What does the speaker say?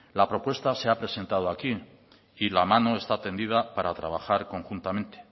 la propuesta se ha presentado aquí y la mano está tendida para trabajar conjuntamente